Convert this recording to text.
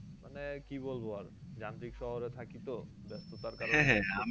মানে আর কি বলবো আর যান্ত্রিক শহরে থাকি তো ব্যাস্ততার